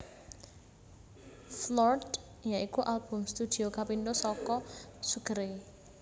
Floored ya iku album studio kapindho saka Sugar Ray